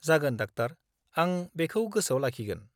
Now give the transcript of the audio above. जागोन, डाक्टार! आं बेखौ गोसोआव लाखिगोन।